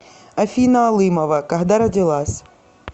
афина алымова когда родилась